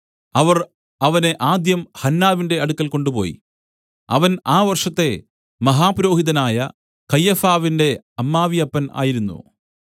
അവർ അവനെ ആദ്യം ഹന്നാവിന്റെ അടുക്കൽ കൊണ്ടുപോയി അവൻ ആ വർഷത്തെ മഹാപുരോഹിതനായ കയ്യഫാവിന്റെ അമ്മാവിയപ്പൻ ആയിരുന്നു